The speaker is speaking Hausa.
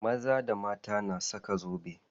Maza da mata na saka zobe.